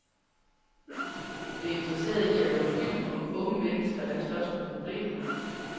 Vi er interesserede i at lave en film om unge mennesker, der slås med problemer.